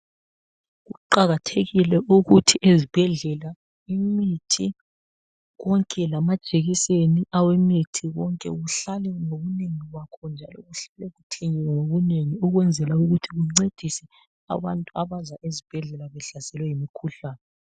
Kuqakathekile ukuthi ezibhedlela imithi konke lamajekiseni aweimiti konke kuhlale ngobunengi bakho njalo kuhlale kuthengiwe ngobunengi Ukunzela ukuthi kuncedise abantu abaza ezibhedlela behlaselwe yimkhuhlane.